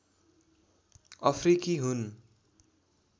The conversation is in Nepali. अफ्रिकी हुन्